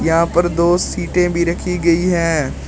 यहां पर दो सीटे भी रखी गई है।